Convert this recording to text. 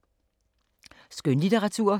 Skønlitteratur